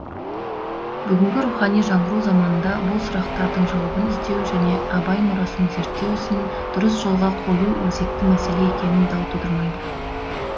бүгінгі рухани жаңғыру заманында бұл сұрақтардың жауабын іздеу және абай мұрасын зерттеу ісін дұрыс жолға қою өзекті мәселе екені дау тудырмайды